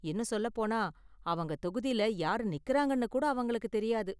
இன்னும் சொல்லப் போனா அவங்க தொகுதில யாரு நிக்கறாங்கனு கூட அவங்களுக்கு தெரியாது.